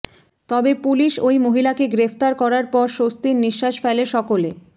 তবে পুলিশ ওই মহিলাকে গ্রেফতার করার পর স্বস্তির নিঃশ্বাস ফেলে সকলে